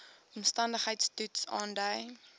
omstandigheids toets aandui